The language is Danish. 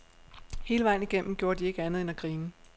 Hele vejen igennem gjorde de ikke andet end at grine.